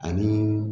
Ani